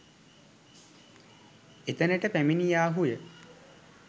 එතනට පැමිණියාහු ය.